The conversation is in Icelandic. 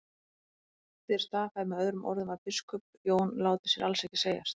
Þér staðhæfið með öðrum orðum að biskup Jón láti sér alls ekki segjast.